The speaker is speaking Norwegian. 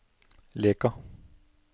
Leka